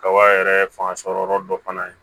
Kaba yɛrɛ fanga sɔrɔ yɔrɔ dɔ fana ye